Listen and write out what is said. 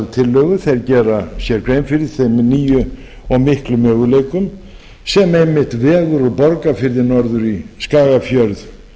tillögu þeir gera sér grein fyrir þeim nýju og miklu möguleikum sem einmitt vegur úr borgarfirði norður í skagafjörð